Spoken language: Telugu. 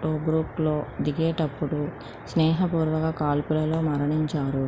టోబ్రూక్లో దిగేటప్పుడు స్నేహపూర్వక కాల్పులలో మరణించారు